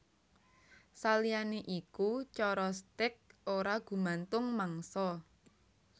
Saliyané iku cara stèk ora gumantung mangsa